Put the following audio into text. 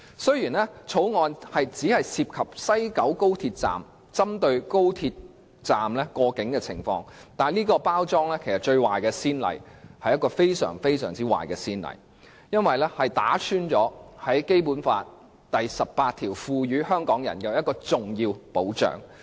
雖然《條例草案》只針對高鐵西九龍站內的過境情況，但這種包裝方式卻造成一個極壞的先例，破壞了《基本法》第十八條為香港人提供的重要保障。